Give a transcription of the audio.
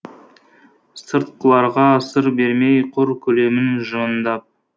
сыртқыларға сыр бермей құр күлемін жымыңдап